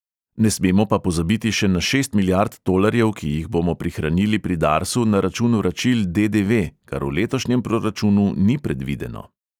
Ne smemo pa pozabiti še na šest milijard tolarjev, ki jih bomo prihranili pri darsu na račun vračil de|de|ve, kar v letošnjem proračunu ni predvideno.